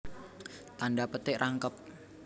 Tandha petik rangkep